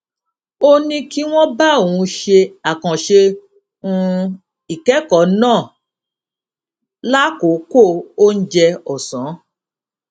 ó ní kí wón bá òun ṣe àkànṣe um ìkékòó náà lákòókò oúnjẹ òsán